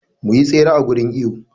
Mu yi tsere a gurin iwo.